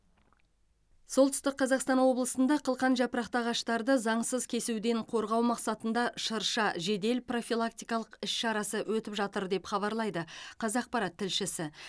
солтүстік қазақстан облысында қылқан жапырақты ағаштарды заңсыз кесуден қорғау мақсатында шырша жедел профилактикалық іс шарасы өтіп жатыр деп хабарлайды қазақпарат тілшісі